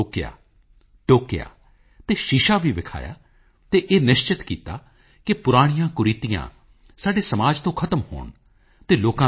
ਵਿਕਰਮ ਸਾਰਾਭਾਈ ਦੀ ਮੂਰਤੀ ਦੇ ਉਦਘਾਟਨ ਦਾ ਸੁਭਾਗ ਪ੍ਰਾਪਤ ਹੋਇਆ ਡਾ